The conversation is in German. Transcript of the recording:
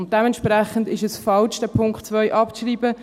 Dementsprechend ist es falsch, den Punkt 2 abzuschreiben.